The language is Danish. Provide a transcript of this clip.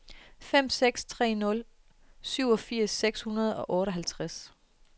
fem seks tre nul syvogfirs seks hundrede og otteoghalvtreds